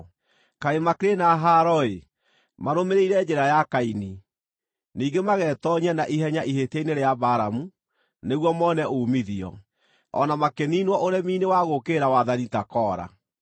Kaĩ makĩrĩ na haaro-ĩ! Marũmĩrĩire njĩra ya Kaini; ningĩ magetoonyia na ihenya ihĩtia-inĩ rĩa Balamu nĩguo mone uumithio; o na makĩniinwo ũremi-inĩ wa gũũkĩrĩra wathani ta Kora.